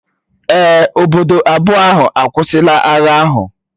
Èè, obodo abụọ ahụ akwụsịla agha ahụ